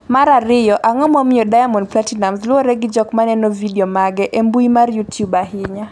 mar ariyo, Ang’o momiyo Diamond Platinumz luwre gi jok maneno vidio mage e mbui mar Youtube ahinya?